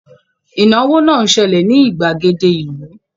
Ìnáwó náà ń ṣẹlẹ̀ ní ìgbàgede ìlú